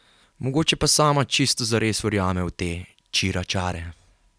Mogoče pa sama čisto zares verjame v te čiračare?